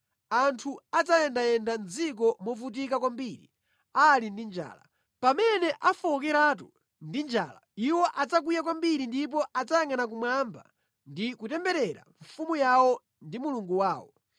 Anthu adzayendayenda mʼdziko movutika kwambiri ali ndi njala; pamene afowokeratu ndi njala, iwo adzakwiya kwambiri ndipo adzayangʼana kumwamba ndi kutemberera mfumu yawo ndi Mulungu wawo.